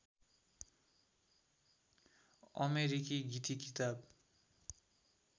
अमेरिकी गीतिकिताब